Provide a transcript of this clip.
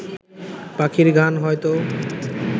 পাখির গান হয়ত